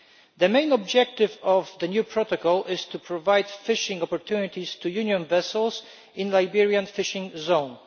The main objective of the new Protocol is to provide fishing opportunities to Union vessels in the Liberian fishing zone.